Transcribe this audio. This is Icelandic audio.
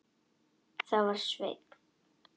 Það var Sveinn.